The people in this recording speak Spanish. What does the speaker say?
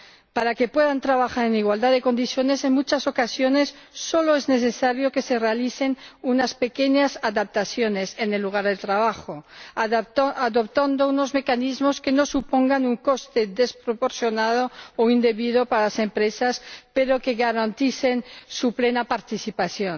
Para que puedan trabajar en igualdad de condiciones, en muchas ocasiones, solo es necesario que se realicen unas pequeñas adaptaciones en el lugar de trabajo, adoptando unos mecanismos que no supongan un coste desproporcionado o indebido para las empresas, pero que garanticen su plena participación.